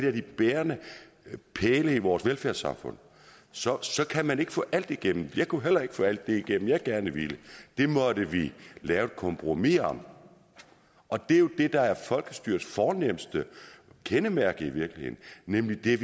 af de bærende pæle i vores velfærdssamfund så så kan man ikke få alt igennem jeg kunne heller ikke få alt det igennem jeg gerne ville det måtte vi lave et kompromis om og det er jo det der er folkestyrets fornemste kendetegn nemlig at vi